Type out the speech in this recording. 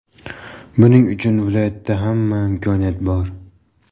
Buning uchun viloyatda hamma imkoniyat bor.